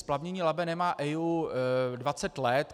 Splavnění Labe nemá EIA 20 let.